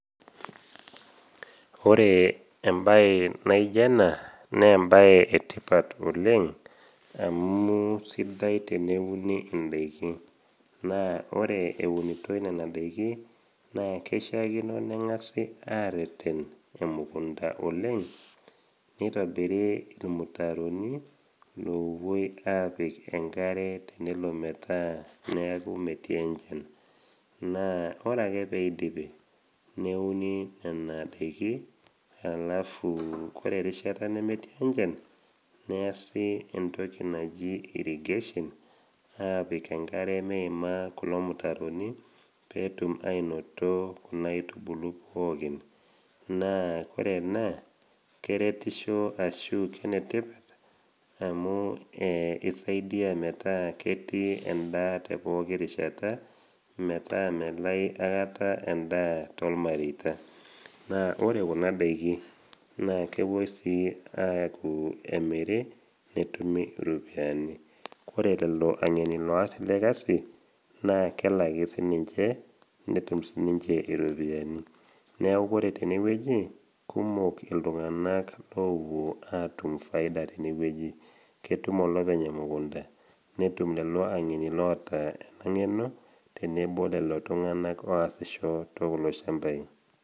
Ore embaye naijio ena naa embaye etipat oleng' amu sidai teneuni indaiki, naa ore eunitoi nena daiki naa keishiakino neng'asi areten emukunta oleng' neitobiri irmutaroni lopuoi apik enkare tenelo metaa neeku metii enchan naa ore ake peidipi neuni nena daiki alafu kore erishata nemetii enchan neyasi entoki naji irrigation aapik enkare meima kulo mutaroni peetum ainoto kuna aitubulu pookin naa kore ena keretisho ashu kenetipat amu eh i saidia metaa ketii endaa te poki rishata metaa melai akata endaa tolmareita. naa ore kuna daiki naa kepuoi sii aaku emiri netumi iropiani kore lelo ang'eni loas ele kasi naa kelaki sininche netum sininche iropiani neeku ore tenewueji kumok iltung'anak lopuwo atum faida tenewueji ketum olopeny emukunta netum lelo ang'eni loota ena ng'eno tenebo lelo tung'anak oasisho te kulo shambai.